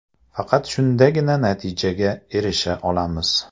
Faqat shundagina natijaga erisha olamiz.